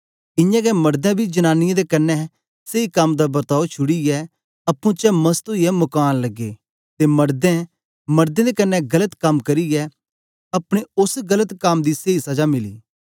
इयां गै मडदें बी जनांनीयें दे कन्ने सेई कम दा वर्ताओ छुड़ीयै अप्पुं चें मस्त ओईयै मुकान लगे ते मडदें मडदें दे कन्ने गलत कम करियै अपने ओस गलत कम दी सेई सजा मिली